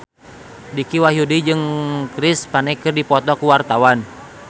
Dicky Wahyudi jeung Chris Pane keur dipoto ku wartawan